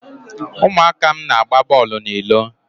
ụmụaka m na-agba bọọlụ n'ilo.